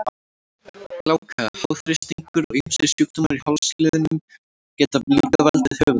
Gláka, háþrýstingur og ýmsir sjúkdómar í hálsliðum geta líka valdið höfuðverk.